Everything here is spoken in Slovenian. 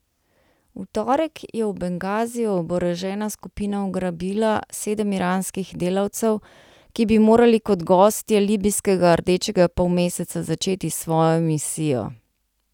V torek je v Bengaziju oborožena skupina ugrabila sedem iranskih delavcev, ki bi morali kot gostje Libijskega rdečega polmeseca začeti svojo misijo.